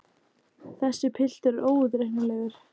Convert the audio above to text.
Þessi piltur er óútreiknanlegur!